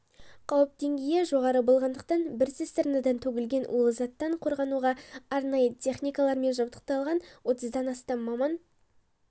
қауіп деңгейі жоғары болғандықтан бір цистернадан төгілген улы заттан қорғануға арнайы техникалармен жабдықталған отыздан астам маман